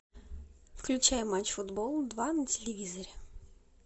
включай матч футбол два на телевизоре